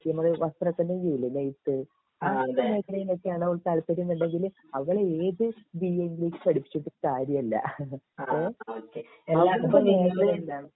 നമ്മൾ വസ്ത്രത്തിമ്മേ ചെയ്യില്ലെ ഏത് മേഖലിയിലേക്കാണോ അവൾക് താല്പര്യം ഉണ്ടെന്നെങ്കിൽ അവളെ ഏത് ബിഎ ഇംഗ്ലീഷ് പഠിപ്പിച്ചിട്ടും കാര്യമില്ല ഇഹ്ഹ്